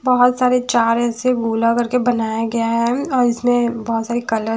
बहुत सारे चार ऐसे गोला करके बनाया गया है अम इसमें बहुत सारे कलर --